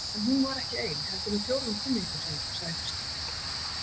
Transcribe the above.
En hún var ekki ein heldur með fjórum kunningjum sínum, sagði Kristín.